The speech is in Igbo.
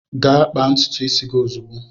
Gaa kpaa ntutu isi gị ozugbo!